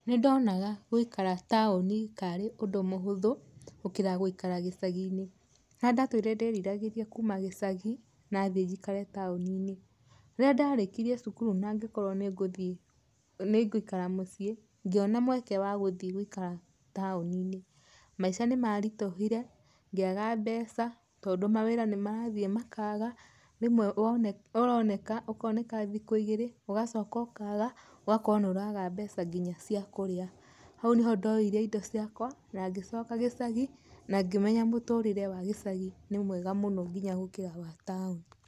Nĩndonaga gũikara taũni kaarĩ ũndũ mũhũthũ gũkĩra gũikara gĩcagi-inĩ. Harĩa ndatũire ndĩriragĩria kuuma gĩcagi nathiĩ njikare tauni-inĩ. Rĩrĩa ndarĩkirie cukuru nangĩkorwo nĩngũthiĩ ningũikara mũciĩ, ngĩona mweke wagũthiĩ gũikara taũni-inĩ, maica nĩ maritũhire, ngĩaga mbeca tondũ mawĩra nĩ marathiĩ makaga, rĩmwe ũroneka ũkoneka thikũ igĩrĩ ũgacoka ũkaga, ũgakorwo nĩũraga mbeca nginya ciakũrĩa, hau nĩhondoire indo ciakwa na ngĩcoka gĩcagi na ngĩmenya mũtũrĩre wa gĩcagi nĩ mwega mũno nginya gũkira wa tauni.